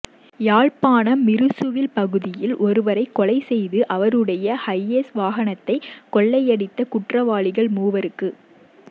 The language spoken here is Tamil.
யாழ்ப்பாணம் மிருசுவில் பகுதியில் ஒருவரைக் கொலை செய்து அவருடைய ஹைஏஸ் வாகனத்தைக் கொள்ளையடித்த குற்றவாளிகள் மூவருக்கு